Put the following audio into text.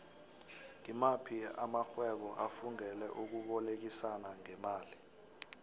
ngimaphi amaxhhwebo afungele ukubolekisano ngemali